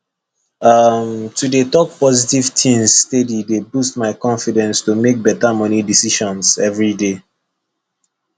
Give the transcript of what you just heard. um to dey talk positive things steady dey boost my confidence to make better money decisions every day